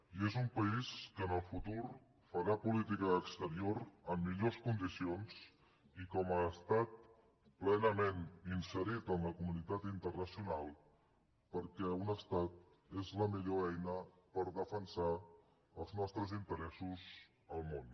i és un país que en el futur farà política d’exterior en millors condicions i com a estat plenament inserit en la comunitat internacional perquè un estat és la millor eina per defensar els nostres interessos al món